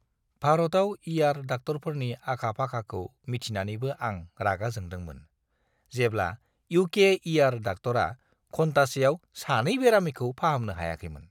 भारताव इ.आर. डाक्टरफोरनि आखा-फाखाखौ मिथिनानैबो आं रागा जोंदोंमोन, जेब्ला इउ.के. इ.आर. डाक्टरा घन्टासेयाव सानै बेरामिखौ फाहामनो हायाखैमोन!